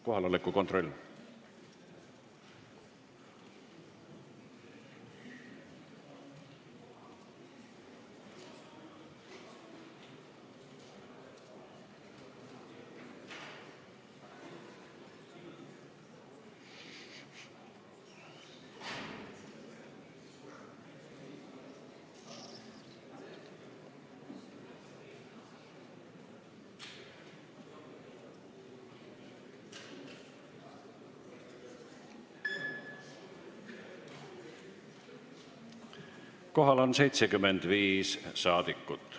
Kohaloleku kontroll Kohal on 75 saadikut.